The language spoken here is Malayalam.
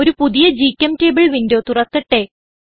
ഒരു പുതിയ ഗ്ചെംറ്റബിൾ വിൻഡോ തുറക്കട്ടെ